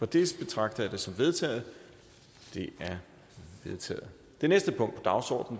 det betragter jeg det som vedtaget vedtaget